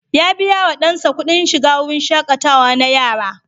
Ya biya wa ɗansa kuɗin shiga wurin shaƙatawa na yara.